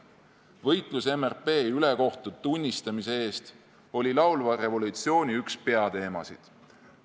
Võitlus MRP ülekohtu tunnistamise eest oli laulva revolutsiooni üks peateemasid.